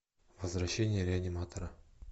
возвращение реаниматора